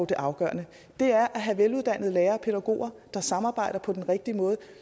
det afgørende og det er at have veluddannede lærere og pædagoger der samarbejder på den rigtige måde